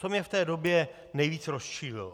To mě v té době nejvíc rozčílilo.